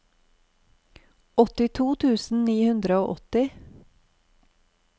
åttito tusen ni hundre og åtti